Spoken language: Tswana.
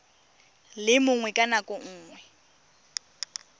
le mongwe ka nako nngwe